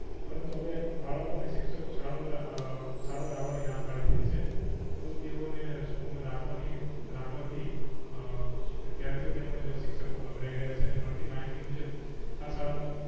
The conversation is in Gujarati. પરંતુ હવે બાળકો અને શિક્ષકો શાળાઓ એ અ શાળાઓ એ આવાની ના પાડી દીધી છે મૃતદેહો ને સ્કૂલ માં રાખવાની રાખવાથી હ વિધ્યાર્થીઓ તેમજ શિક્ષકો ગભરાઈ રહ્યા છે ને મળતી માહિતી મુજબ આ શાળા માં